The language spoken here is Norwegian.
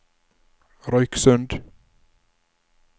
Røyksund